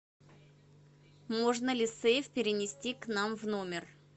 можно ли сейф перенести к нам в номер